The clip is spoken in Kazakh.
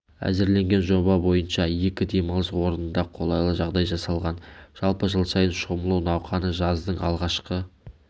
әзірлеген жоба бойынша екі демалыс орнында қолайлы жағдай жасалған жалпы жыл сайын шомылу науқаны жаздың алғашқы